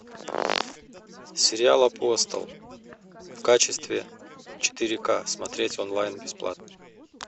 сериал апостол в качестве четыре ка смотреть онлайн бесплатно